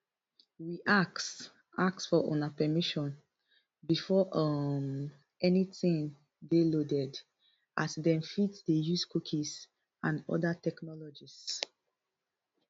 we ask ask for una permission before um anytin dey loaded as dem fit dey use cookies and oda technologies